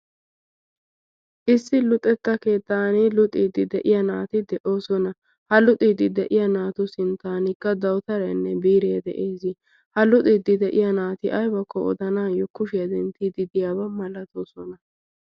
issi luxetta keettan luxiiddi de7iya naati de7oosona ha luxiiddi de7iya naatu sin tankka dautarenne biiree de7ees ha luxiiddi de7iya naati aibakko odanaayyo kushiyaa denttiididdiyaabaa malatoosona?